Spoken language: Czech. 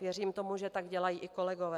Věřím tomu, že tak dělají i kolegové.